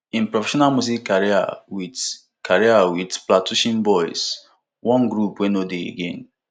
im professional music career wit career wit plantashun boiz one group wey no dey again